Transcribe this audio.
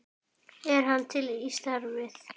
Er hann til í starfið?